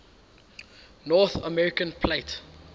north american plate